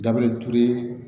Dabirili ture